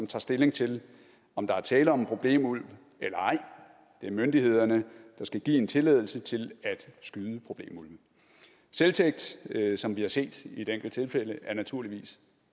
tager stilling til om der er tale om en problemulv eller ej det er myndighederne der skal give en tilladelse til at skyde problemulven selvtægt som vi har set i et enkelt tilfælde er naturligvis